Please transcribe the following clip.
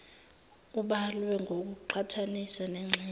ubalwe ngokuqhathanisa nengxenye